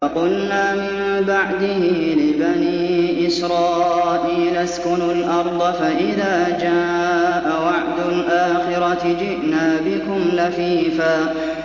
وَقُلْنَا مِن بَعْدِهِ لِبَنِي إِسْرَائِيلَ اسْكُنُوا الْأَرْضَ فَإِذَا جَاءَ وَعْدُ الْآخِرَةِ جِئْنَا بِكُمْ لَفِيفًا